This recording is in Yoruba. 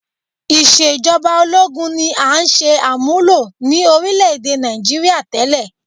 Ìṣe ìjọba ológun ni à ń ṣe àmúlò ní orílẹ̀-èdè Nigeria tẹ́lẹ̀